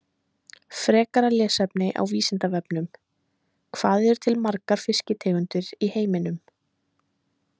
Frekara lesefni á Vísindavefnum: Hvað eru til margar fisktegundir í heiminum?